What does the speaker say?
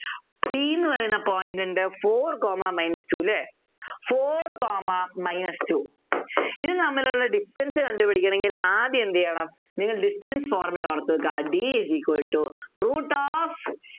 P എന്ന് പറയുന്ന point ഉണ്ട് Four comma minus two ല്ലേ Four comma minus two ഇത് തമ്മിലുള്ള Distance കണ്ടുപിടിക്കണമെങ്കിൽ ആദ്യം എന്ത് ചെയ്യണം നിങ്ങൾ Distance formula ഓർത്തു വെക്കുക D is equal to root of